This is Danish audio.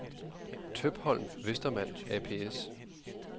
Tøpholm & Westermann ApS